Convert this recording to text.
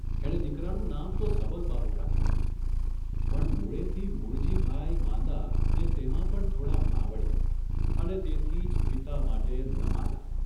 એણે દીકરાનું નામ તો સબલબાહુ રાખેલું, પણ મૂળેથી મૂળજીભાઇ માંદાને તેમાં પણ થોડા માવડીયા અને તેથી જ પિતા માટે નમાલા !